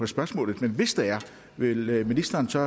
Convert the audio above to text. spørgsmålet men hvis der er vil ministeren så